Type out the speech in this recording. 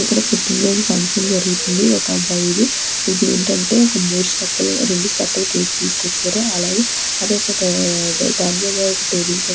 ఇక్కడ పుట్టినరోజు ఫంక్షన్ జరుగుతుంది ఒక అబ్బాయిది. ఇది ఏంటంటే ఒక మూడు స్తెప్పుల రేండు స్తెప్పుల కేక్ తీసుకొచ్చారు. అలాగే అదొక దాని మీద ఒక టేబుల్ మీద పెట్టారు.